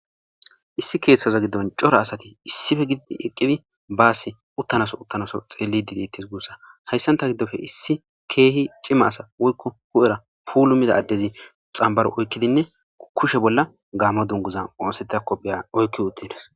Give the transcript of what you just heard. Issi keeththaza giddon cora asati issife gididi eqqidi baasi uttanaso uttanaso xeelli didetes guussa hayssanta giddofe issi keehi cima asa woykko hu'era puulu mida addezi xambaro oykkidinne kushe bolla gaamo dunguza oosetakopheya oykki uttindos.